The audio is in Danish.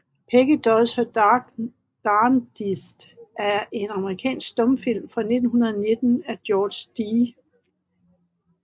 Peggy Does Her Darndest er en amerikansk stumfilm fra 1919 af George D